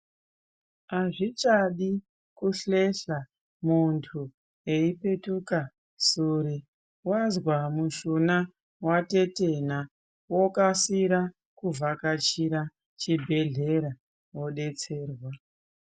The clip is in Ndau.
Hazvichadi kuhlehla muntu eipetuka sure. Vazwa mushuna vatetena vokasira kuvhakachira chibhedhlera vobetserwa.